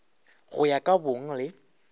go ya ka bong le